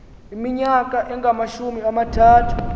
iminyaka engamashumi amathathu